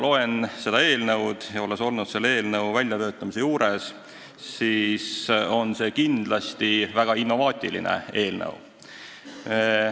Olles olnud selle eelnõu väljatöötamise juures ja praegugi seda lugenuna olen kindel, et see on väga innovaatiline eelnõu.